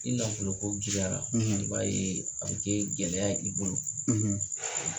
Ni nafolo ko giriyara i b'a ye a bi kɛ gɛlɛya ye i bolo